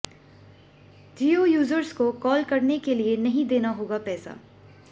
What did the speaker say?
जियो users को call करने के लिए नहीं देना होगा पैसा